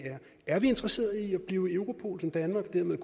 er vi interesseret i at blive i europol så danmark dermed